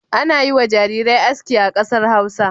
Ana yi wa jarirai aski a kasar Hausa.